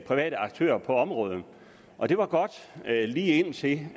private aktører på området og det var godt lige indtil